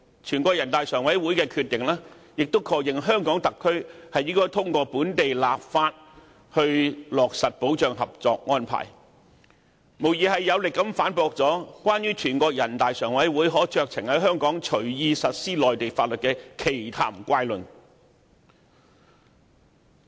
全國人大常委會的決定亦確認，香港特區應通過本地立法以落實《合作安排》，這無疑是有力的反擊，駁斥有關全國人大常委會可隨意在香港實施內地法律的奇談怪論。